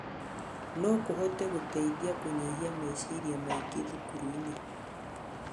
No kũhote gũteithia kũnyihia meciaria maingĩ thukuru-inĩ.